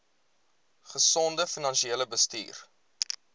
gesonde finansiële bestuur